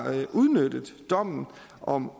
udnyttet dommen om